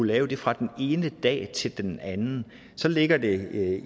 lave det fra den ene dag til den anden så ligger det